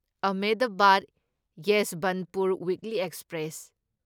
Ahmedabad Yesvantpur weekly express